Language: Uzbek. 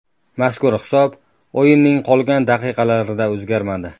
Mazkur hisob o‘yinning qolgan daqiqalarida o‘zgarmadi.